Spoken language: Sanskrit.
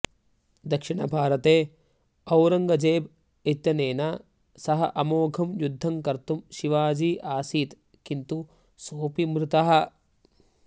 दक्षिणभारते औरङ्गजेब इत्यनेन सह अमोघं युद्धं कर्तुं शिवाजी आसीत् किन्तु सोऽपि मृतः